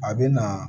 A bɛ na